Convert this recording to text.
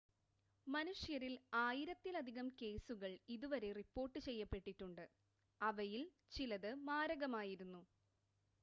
മനുഷ്യരിൽ ആയിരത്തിലധികം കേസുകൾ ഇതുവരെ റിപ്പോർട്ട് ചെയ്യപ്പെട്ടിട്ടുണ്ട് അവയിൽ ചിലത് മാരകമായിരുന്നു